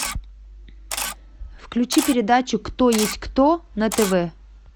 включи передачу кто есть кто на тв